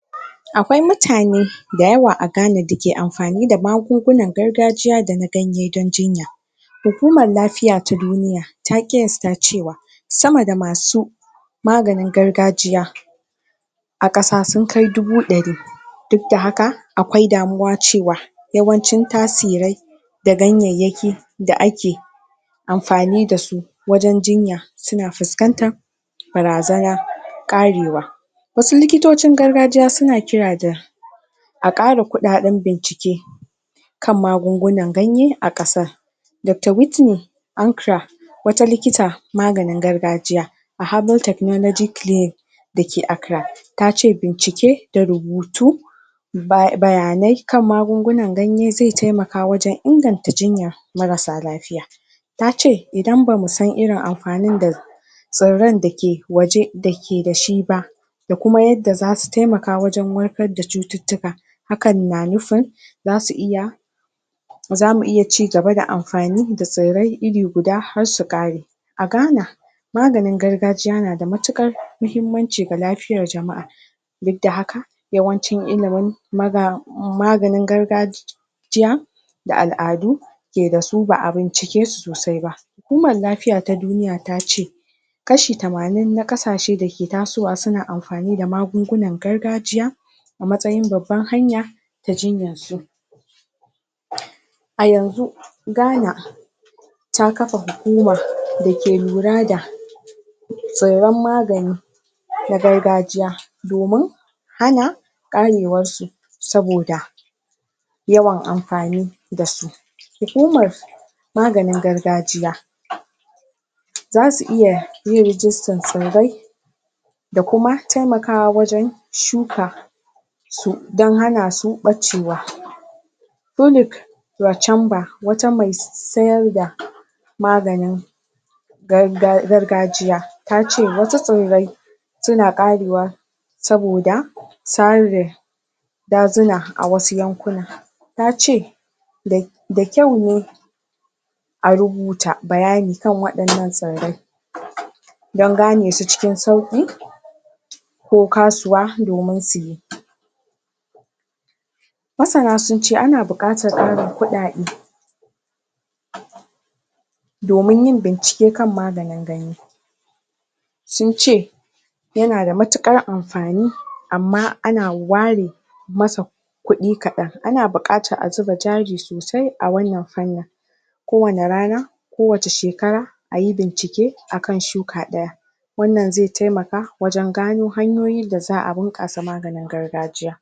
akwai mutane da yawa a ghana dake amfani da magungunan gargajiya dana ganye dan jinya hukumar lafiya ta duniya ta qiyasta cewa sama da masu maganin gargajiya a kasa sun kai dubu dari duk da haka akwai damuwa cewa yawancin tasirai da ganyayyaki da ake amfani dasu wajen jinya suna fuskantan barazana karewa wasu likitocin gargajiya suna jira da a kara kudaden bincike kan magunguna ganye a kasan dr witney ankra wata likita maganin gargajiya a herbal technology clinic da ke accra tace bincike da rubutu bayanai kan magungunan ganye zai taimaka wajen inganta jinya marasa lafiya tace idan bamu san irin amfanin da tsirran dake waje dake dashi ba da kuma yadda zasu taimaka wajen warkar da cututtuka hakan na nufin zasu iya zamu iya chigaba da amfani da tsirrai iri guda har su kare a ghana maganin gargajiya yana da matukar mahimmanci ga kafiyar jama'a duk da haka yawancin ilimin maga maganin gargajiya jiya da al'adu ke dasu baa bincike su sosai ba hukumar lafiya ta duniya tace kashi tamanin na kasashe da ke tasowa suna amfani da magungunan gargajiya a matsayin babbar hanya ta jinyansu? a yanxu ghana ta kafa hukumar da ke lura da tsirran magani na agrgajiya domin hana karewar su saboda yawan amfani dasu hukumar maganin gargajiya? zasu iya yin registan tsirrai da kuma taimakawa wajen shuka su dan hanasu bacewa folic wachanba wata me sayar da maganin garga gargajiya tace wata tsirrai suna karewa saboda suna serbin dazuna a wasu yankuna tace dai da kyau ne a rubuta bayani kan wadannan tsirrai? dan ganesu cikin sauki ko kasuwa domin suyi masana sunce ana buqatar karin kudade? domin yin bincike don maganin gani sun ce yana da matukar amfani amma ana ware masa kudi kadan ana bukata a zuba kudi sosai a wannan fannin ko wani rana ko wace shekara ayi bincike akan shuka daya wannan zai taimaka wajen gano hanyoyi da zaa bunkasa maganin gargajiya